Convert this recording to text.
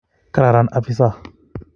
Kararan afisa